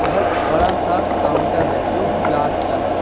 बहुत बड़ा सा काउंटर है जो ग्लास का है।